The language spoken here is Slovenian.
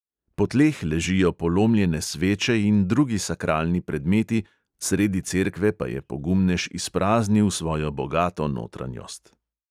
Po tleh ležijo polomljene sveče in drugi sakralni predmeti, sredi cerkve pa je pogumnež izpraznil svojo bogato notranjost.